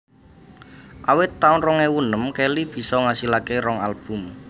Awit taun rong ewu enem Kelly bisa ngasilaké rong album